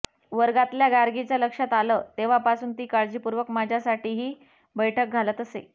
वर्गातल्या गार्गीच्या लक्षात आलं तेव्हापासून ती काळजीपूर्वक माझ्यासाठीही बैठक घालत असे